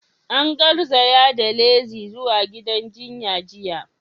An garzaya da Lizzy zuwa gidan jinya jiya.